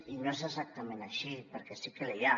i no és exactament així perquè sí que n’hi ha